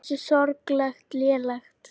Hversu sorglega lélegt.